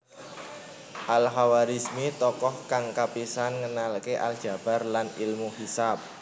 Al Khawarizmi tokoh kang kapisan ngenalké aljabar lan ilmu hisab